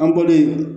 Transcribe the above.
An bɔlen